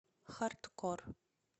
хардкор